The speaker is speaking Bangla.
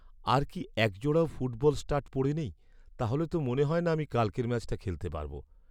আর কি একজোড়াও ফুটবল স্টাড পড়ে নেই? তাহলে তো মনে হয় না আমি কালকের ম্যাচটা খেলতে পারব।